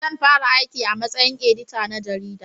Zan fara aiki a matsayin edita na jarida